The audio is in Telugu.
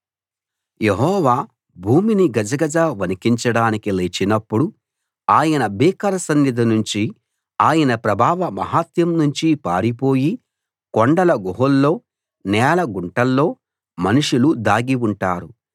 యెహోవా భూమిని గజగజ వణికించడానికి లేచినప్పుడు ఆయన భీకర సన్నిధి నుంచి ఆయన ప్రభావ మహత్యం నుంచి పారిపోయి కొండల గుహల్లో నేల గుంటల్లో మనుషులు దాగి ఉంటారు